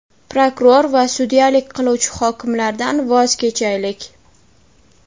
prokuror va sudyalik qiluvchi hokimlardan voz kechaylik.